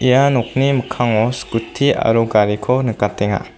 ia nokni mikkango skuti aro gariko nikatenga.